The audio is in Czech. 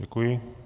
Děkuji.